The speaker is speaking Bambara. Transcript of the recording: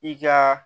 I ka